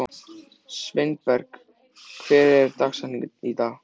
Sveinberg, hver er dagsetningin í dag?